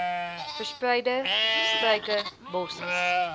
verspreide struike bossies